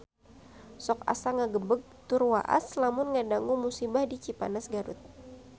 Sok asa ngagebeg tur waas lamun ngadangu musibah di Cipanas Garut